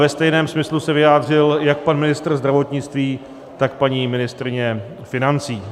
Ve stejném smyslu se vyjádřil jak pan ministr zdravotnictví, tak paní ministryně financí.